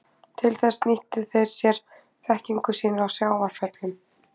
Til þess nýttu þeir sér þekkingu sína á sjávarföllum.